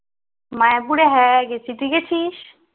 মায়াপুর হ্যাঁ গেছি তুই গেছিস